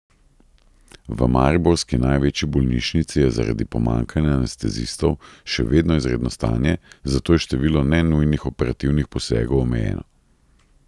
V mariborski največji bolnišnici je zaradi pomanjkanja anestezistov še vedno izredno stanje, zato je število nenujnih operativnih posegov omejeno.